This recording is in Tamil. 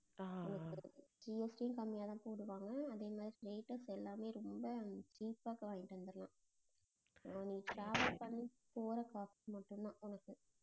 GST கம்மியா தான் போடுவாங்க அதே மாதிரி எல்லாமே ரொம்ப cheap ஆ வாங்கிட்டு வந்தர்லாம் ஆஹ் நீ travel பண்ணி போற காசு மட்டும்தான் உனக்கு